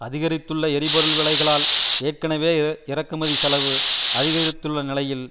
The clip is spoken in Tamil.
அதிகரித்துள்ள எரிபொருள் விலைகளால் ஏற்கனவே இறக்குமதி செலவு அதிகரித்துள்ள நிலையில்